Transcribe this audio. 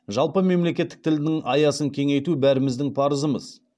жалпы мемлекеттік тілдің аясын кеңейту бәріміздің парызымыз